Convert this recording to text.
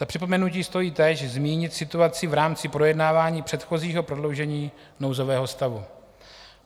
Za připomenutí stojí teď zmínit situaci v rámci projednávání předchozího prodloužení nouzového stavu.